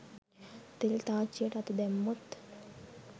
තෙල් තාච්චියට අත දැම්මොත්